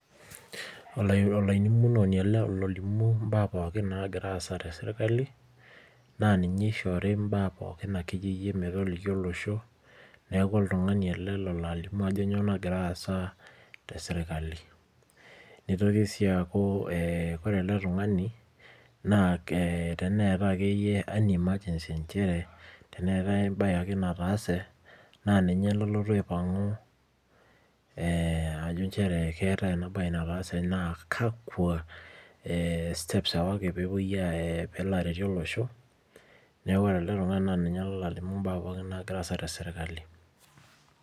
Olailimunoni ele olimu imbaa pooki naagira aasa te serkali, naa ninye eishori imbaa pooki ake iyie metoliki olosho, neaku oltung'ani ele ololaalimu ajo nyoo naagira aasa te serkali. Neioki sii aaku ore ele tung'ani naa teneatai ake iyie any emergency nchere teneatai ake embaye ake nataase, naa ninye lolotu aipang'u ajo nchere keatai ena baye nataase na kakwa steps ewaki pewoi aaya pelo aretu olosho, neaku ore elde tung'ani naa ninye olo alimu imbaa pooki naagira aasa te serkali.